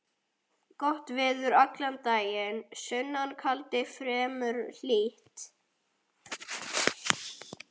Rigning allan daginn, sunnan kaldi, fremur hlýtt.